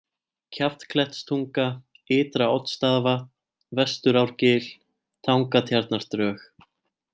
Kjaftklettstunga, Ytra-Oddsstaðavatn, Vesturárgil, Tangatjarnardrög